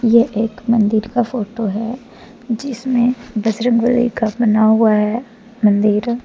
ये एक मंदिर का फोटो है जिसमें बजरंगबली का बना हुआ है मंदिर।